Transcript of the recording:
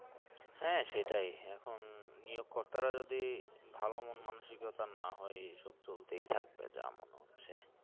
হ্যাঁ সেটাই এখন নিয়োগ কর্তারা যদি ভালো মানুসিকতার না হয় এই সব চলতেই থাকবে যা মনে হচ্ছে